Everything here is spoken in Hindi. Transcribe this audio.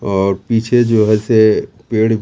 और पीछे जो है से पेड़ --